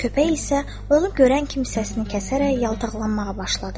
Köpək isə onu görən kimi səsini kəsərək yaltaqlanmağa başladı.